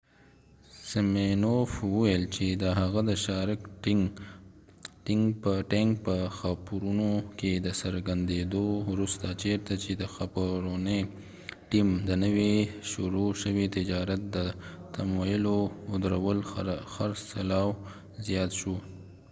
سمینوف وویل چې د هغه د شارک ټینک په خپرونه کې د څرګندیدو وروسته چیرته چې د خپرونې ټیم د نوي شروع شوي تجارت د تمویلول ودرول خرڅلاو زیات شو